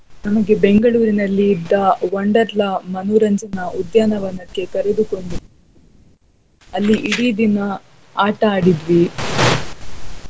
ನಮಗೆ ಬೆಂಗಳೂರಿನಲ್ಲಿದ್ದ Wonderla ಮನೋರಂಜನ ಉದ್ಯಾನವನಕ್ಕೆ ಕರೆದುಕೊಂಡು ಅಲ್ಲಿ ಇಡೀ ದಿನ ಆಟ ಆಡಿದ್ವಿ .